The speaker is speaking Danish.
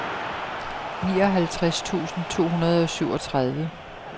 nioghalvtreds tusind to hundrede og syvogtredive